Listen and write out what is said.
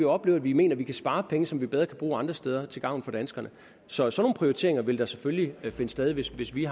opleve at vi mener at vi kan spare penge som vi bedre bruger andre steder til gavn for danskerne så sådan nogle prioriteringer vil da selvfølgelig finde sted hvis hvis vi